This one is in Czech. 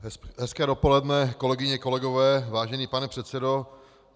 Hezké dopoledne, kolegyně, kolegové, vážený pane předsedo.